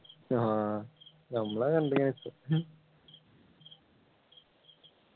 ആഹ് നമ്മളെ